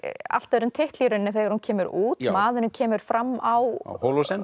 allt öðrum titli þegar hún kemur út maðurinn kemur fram á